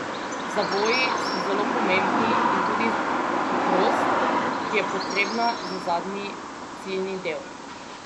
Zavoji so zelo pomembni in tudi hitrost, ki je potrebna za zadnji ciljni del.